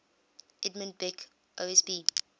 edmund beck osb